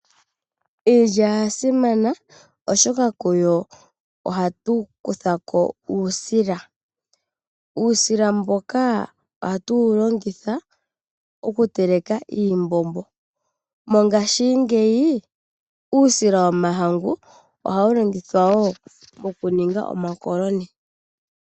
Iilya oya simana oshoka kuyo ohatu kutha ko uusila. Uusila oha tu wu longitha oku teleka iimbombo. Mongashingeyi uusila womahangu ohawu longithwa oku ninga omakoloni.